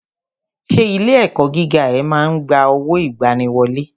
Ṣé ilé ẹ̀kọ́ gíga ẹ ma ń gba owó ìgbaniwọlé?